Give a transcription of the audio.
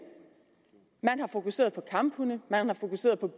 man har fokuseret på kamphunde man har fokuseret på